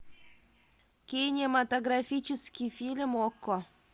кинематографический фильм окко